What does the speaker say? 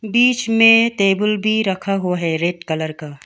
बीच में टेबुल भी रखा हुआ हैं रेड कलर का।